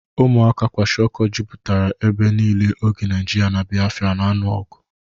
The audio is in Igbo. Ụmụaka kwashịoko jụpụtara ebe niile oge Naajiria na Biafra n'alụ ọgụ.